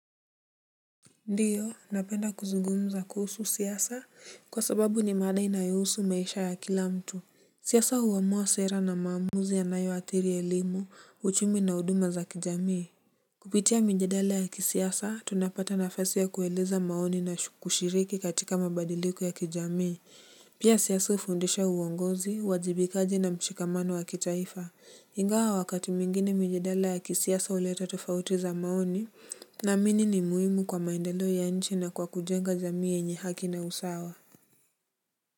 Ndiyo napenda kuzungumza kuhusu siasa kwa sababu ni mada inayohusu maisha ya kila mtu. Siasa huamua sera na maamuzi yanayo athiri elimu, uchumi na huduma za kijamii. Kupitia mijadala ya kisiasa tunapata na fasi ya kueleza maoni na kushiriki katika mabadiliko ya kijamii. Pia siasa hufundisha uongozi, uwajibikaji na mshikamano wa kitaifa. Ingawa wakati mwingine mijadala ya kisiasa uleta tofauti za maoni. Naamini ni muhimu kwa maendeleo ya nchi na kwa kujenga jamii yenye haki na usawa.